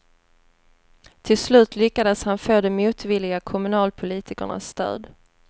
Till slut lyckades han få de motvilliga kommunalpolitikernas stöd.